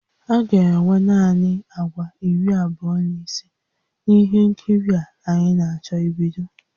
A ga-enwe naanị àgwà iri abụọ na ise na ihe nkiri a anyị na-achọ ibido